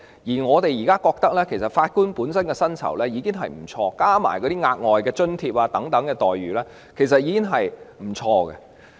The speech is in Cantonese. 而我們認為，法官目前的薪酬已經不錯，加上額外津貼等，其待遇已經很不錯。